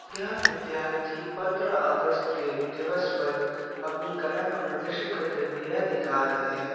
यह विद्यार्थी पन्द्रह अगस्त के दिवस पर अपनी कला का प्रदर्शन करते हुए यह दिखा रहे हैं।